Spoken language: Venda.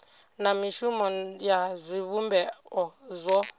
na mishumo ya zwivhumbeo zwo